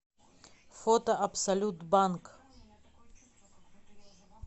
фото абсолют банк